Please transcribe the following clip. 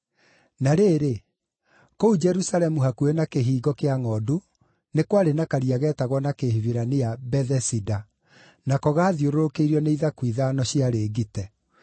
Na rĩrĩ, kũu Jerusalemu hakuhĩ na Kĩhingo-kĩa-Ngʼondu nĩ kwarĩ na karia geetagwo na Kĩhibirania Bethesida, nako gaathiũrũrũkĩirio nĩ ithaku ithano ciarĩ ngite.